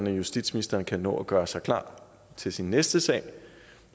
justitsministeren kan nå at gøre sig klar til sin næste sag